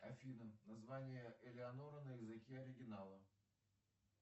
афина название элеонора на языке оригинала